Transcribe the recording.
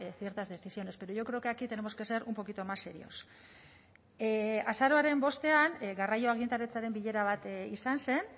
ciertas decisiones pero yo creo que aquí tenemos que ser un poquito más serios azaroaren bostean garraio agintaritzaren bilera bat izan zen